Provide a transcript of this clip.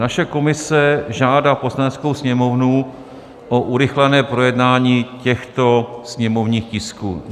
Naše komise žádá Poslaneckou sněmovnu o urychlené projednání těchto sněmovních tisků: